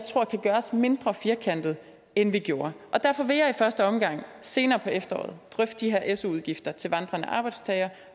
kan gøres mindre firkantet end vi gjorde derfor vil jeg i første omgang senere på efteråret drøfte de her su udgifter til vandrende arbejdstagere